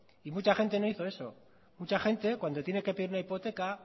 y mucha gente no hizo eso mucha gente cuando tiene que pedir una hipoteca